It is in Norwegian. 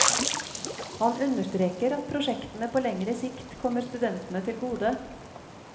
Han understreker at prosjektet på lengre sikt kommer studentene til gode.